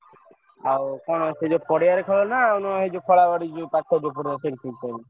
ଆଉ କଣ ସେ ଯୋଉ ପଡିଆରେ ଖେଳ ନା ଆଉ ଆଉ ନ ଏ ଯୋଉ ଖଳାବାଡି ଯୋଉ ପାଖ ସେଠି ଚାଲିଛି?